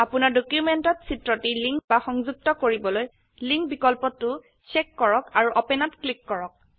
আপোনাৰ ডকিউমেন্টত চিত্ৰটি লিঙ্ক বা সংযুক্ত কৰিবলৈ লিংক বিকল্পতো ছেক কৰক আৰু Openত ক্লিক কৰক